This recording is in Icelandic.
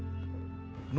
nú er